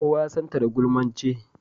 Kowa ya san ta da gulmance.